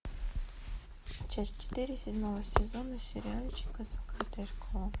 часть четыре седьмого сезона сериальчика закрытая школа